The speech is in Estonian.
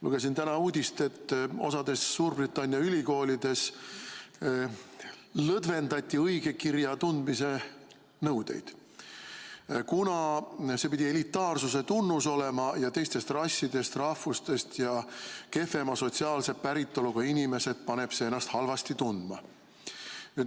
Lugesin täna uudist, et osas Suurbritannia ülikoolides lõdvendati õigekirja tundmise nõudeid, kuna see pidi elitaarsuse tunnus olema ja teistest rassidest, rahvustest ja kehvema sotsiaalse päritoluga inimesed paneb see ennast halvasti tundma.